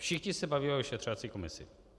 Všichni se baví o vyšetřovací komisi.